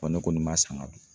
ne kɔni m'a san ka don